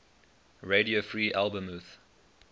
radio free albemuth